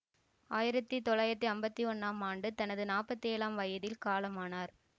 ஆயிரத்தி தொள்ளாயிரத்தி அம்பத்தி ஒன்னாம் ஆண்டு தனது நாப்பத்தி ஏழாம் வயதில் காலமானார்